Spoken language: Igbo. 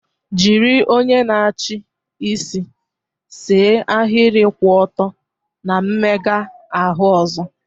Jiri onye na-achị isi see ahịrị kwụ ọtọ na mmega ahụ ọzọ.